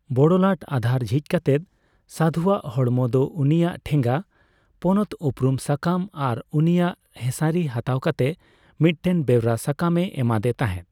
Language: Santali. ᱵᱚᱲᱞᱟᱴ ᱟᱫᱷᱟᱨ ᱡᱷᱤᱡ ᱠᱟᱛᱮ ᱥᱟᱫᱷᱩᱭᱟᱜ ᱦᱚᱲᱢᱚ ᱫᱚ ᱩᱱᱤᱭᱟᱜ ᱴᱷᱮᱜᱟ, ᱯᱚᱱᱚᱛ ᱩᱯᱨᱩᱢ ᱥᱟᱠᱟᱢ ᱟᱨ ᱩᱱᱤᱭᱟᱜ ᱦᱮᱸᱥᱟᱹᱨᱤ ᱦᱟᱛᱟᱣ ᱠᱟᱛᱮ ᱢᱤᱫᱴᱮᱱ ᱵᱮᱣᱨᱟ ᱥᱟᱠᱟᱢ ᱮ ᱮᱢᱟᱫᱮ ᱛᱟᱸᱦᱮᱫ ᱾